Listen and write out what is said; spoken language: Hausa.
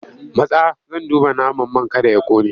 Matsa! Zan duba naman man kada ya ƙone!